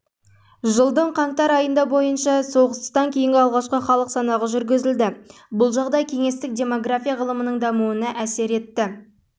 жылдың қаңтар айында бойынша соғыстан кейінгі алғашқы халық санағы жүргізілді бұл жағдай кеңестік демография ғылымының дамуына